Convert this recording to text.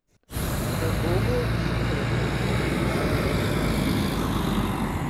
V Bobu jih trenutno izvajajo petnajst.